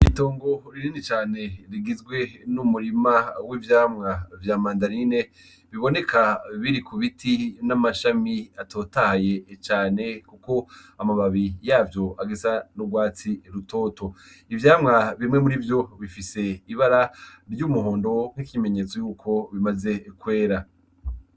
Itongo rinini cane rigizwe n'umurima w'ivyamwa vya mandarine biboneka biri ku biti n'amashami atotahaye cane ko amababi yavyo agisa n'urwatsi rutoto. Ivyamwa bimwe muri vyo bifise ibara ry'umuhondo nk' ikimenyetso y'uko bimaze kwera.